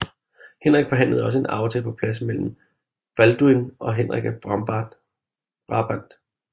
Henrik forhandlede også en aftale på plads mellem Balduin og Henrik af Brabant